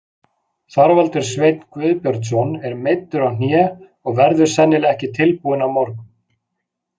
Þorvaldur Sveinn Guðbjörnsson er meiddur á hné og verður sennilega ekki tilbúinn á morgun.